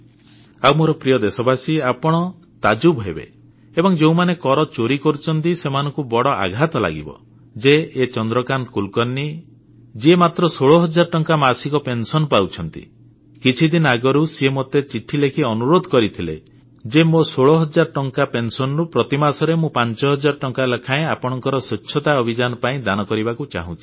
ଆଉ ମୋର ପ୍ରିୟ ଦେଶବାସୀ ଆପଣ ତାଜୁବ୍ ହେବେ ଏବଂ ଯେଉଁମାନେ କର ଚୋରି କରୁଛନ୍ତି ସେମାନଙ୍କୁ ବଡ଼ ଆଘାତ ଲାଗିବ ଯେ ଏ ଚନ୍ଦ୍ରକାନ୍ତ କୁଲକର୍ଣ୍ଣୀ ଯିଏ ମାତ୍ର 16 ହଜାର ଟଙ୍କା ମାସିକ ପେନସନ୍ ପାଉଛନ୍ତି କିଛିଦିନ ଆଗରୁ ସିଏ ମୋତେ ଚିଠି ଲେଖି ଅନୁରୋଧ କରିଥିଲେ ଯେ ମୋ 16 ହଜାର ଟଙ୍କା ପେନସନରୁ ପ୍ରତି ମାସରେ ମୁଁ 5 ହଜାର ଟଙ୍କା ଲେଖାଏଁ ଆପଣଙ୍କ ସ୍ୱଚ୍ଛତା ଅଭିଯାନ ପାଇଁ ଦାନ କରିବାକୁ ଚାହୁଁଛି